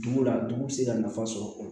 Dugu la dugu bɛ se ka nafa sɔrɔ